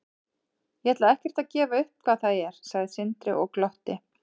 Ég ætla ekkert að gefa upp hvað það er, sagði Sindri og glotti.